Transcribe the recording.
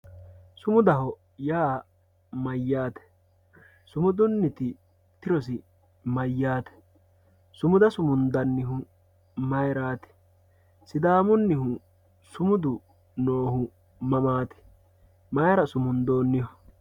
sumudaho yaa maati sumudunniti tirosi mayyate sumuda sumundannihu mayrati sidaamunnihu sumauda siumundoonnihu mammti mayra sumundoonniho